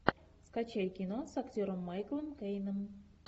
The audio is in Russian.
скачай кино с актером майклом кейном